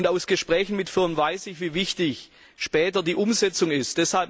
Aus Gesprächen mit Firmen weiß ich, wie wichtig später die Umsetzung ist.